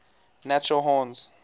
natural horns